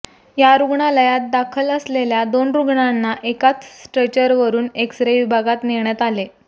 या रुग्णालयात दाखल असलेल्या दोन रुग्णांना एकाच स्ट्रेचरवरुन एक्स रे विभागात नेण्यात आले